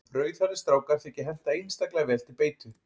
Rauðhærðir strákar þykja henta einstaklega vel til beitu.